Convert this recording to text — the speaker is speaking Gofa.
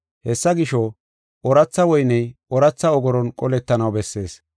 Hessa gisho, ooratha woyney ooratha ogoron qolettanaw bessees.